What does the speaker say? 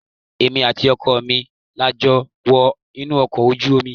Èmi àti ọkọ mi la jọ wọ inú ọkọ̀ ojú omi.